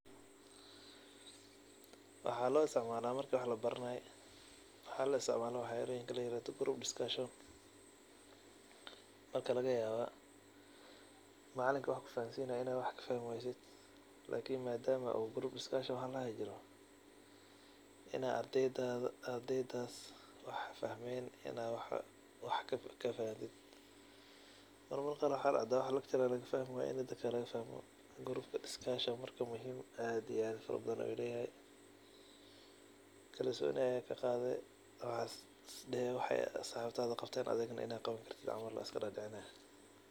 Waxa loisticmala marki wax labarabayo. Waxa lositcmala wax aldoho group discussion marka lagayawa macalinki marku wax kufahansinayo in ad fahmi weyso marka ardeyda wax fahmeen in ad wax kafahntid. Mararka qar wax dacda in lucturka wax kafahmi weydo marka group discussion muhhim aaad iyo aad uyahay oo kalsoni ayad kaqadi wexey saxibada qabten in ad adigana qawani kartid.